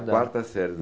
quarta série.